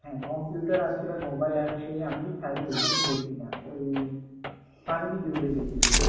হ্যাঁ computer apps mobile apps আমি ঠিক side এ দেখি~দেখিনা ওই funny video ই দেখি বেশি